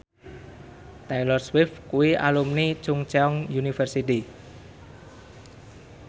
Taylor Swift kuwi alumni Chungceong University